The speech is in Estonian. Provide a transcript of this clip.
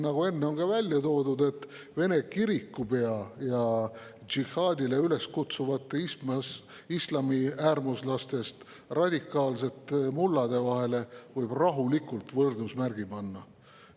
Nagu siin enne välja toodi, Vene kirikupea ja džihaadile üles kutsuvate islamiäärmuslastest radikaalsete mullade vahele võib rahulikult võrdusmärgi panna.